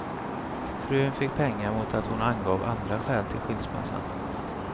Frun fick pengar mot att hon angav andra skäl till skilsmässan.